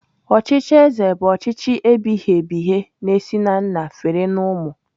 Ọchịchị ézē bụ ọchịchị ebighị ebighị na-esi na nna fere na ụmụ.